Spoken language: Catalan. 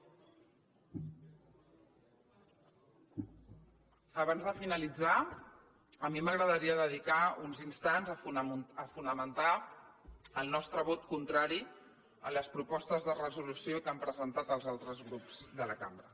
abans de finalitzar a mi m’agradaria dedicar uns instants a fonamentar el nostre vot contrari a les propostes de resolució que han presentat els altres grups de la cambra